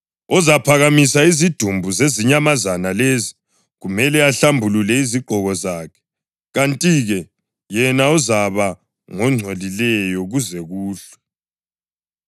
Ozaphakamisa izidumbu zezinyamazana lezi kumele ahlambulule izigqoko zakhe, kanti-ke yena uzaba ngongcolileyo kuze kuhlwe.